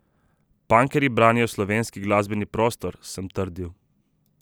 Punkerji branijo slovenski glasbeni prostor, sem trdil.